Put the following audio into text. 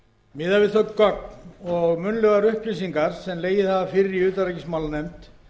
við þau gögn og munnlegar upplýsingar sem legið hafa fyrir í utanríkismálanefnd